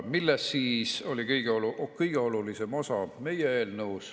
Mis siis oli meie eelnõu kõige olulisem osa?